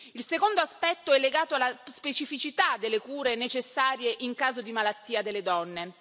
Il secondo aspetto è legato alla specificità delle cure necessarie in caso di malattia delle donne.